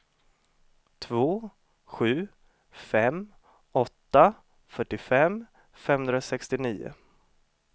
två sju fem åtta fyrtiofem femhundrasextionio